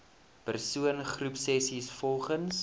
persoon groepsessies volgens